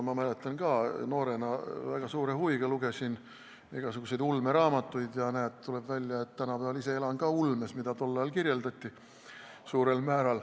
Ma mäletan, kuidas ma noorena väga suure huviga lugesin igasuguseid ulmeraamatuid, ja näed, tuleb välja, et tänapäeval elan ma ise ka suurel määral ulmes, mida tol ajal kirjeldati.